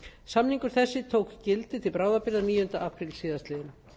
samningur þessi tók gildi til bráðabirgða níunda apríl síðastliðinn